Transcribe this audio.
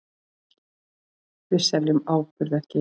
Við seljum áburð, ekki eitur.